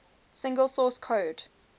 single source code